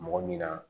Mɔgɔ min na